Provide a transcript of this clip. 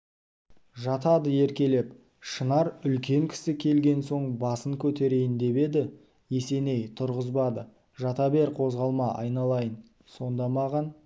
жатады еркелеп шынар үлкен кісі келген соң басын көтерейін деп еді есеней тұрғызбады жата бер қозғалма айналайын сонда маған